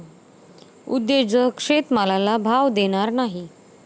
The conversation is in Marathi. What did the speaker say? उद्योजक शेतमालाला भाव देणार नाही.